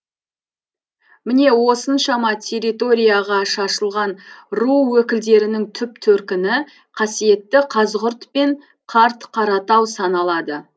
міне осыншама территорияға шашылған ру өкілдерінің түп төркіні қасиетті қазығұрт пен қарт қаратау саналады